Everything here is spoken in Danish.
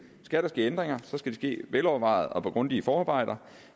skal der ske ændringer skal de ske velovervejet og med grundige forarbejder